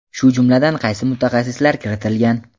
shu jumladan qaysi mutaxassislar kiritilgan?.